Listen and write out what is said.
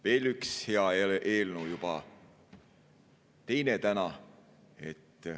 Veel üks hea eelnõu, juba teine täna.